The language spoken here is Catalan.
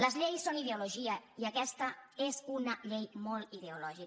les lleis són ideologia i aquesta és una llei molt ideolò·gica